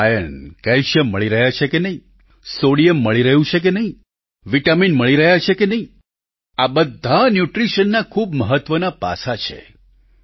તમને iron calcium મળી રહ્યા છે કે નહીં સોડિયમ મળી રહ્યું છે કે નહીં વિટામીન મળી રહ્યા છે કે નહીં આ બધા ન્યૂટ્રિશનના ખૂબ મહત્વનાં પાસાં છે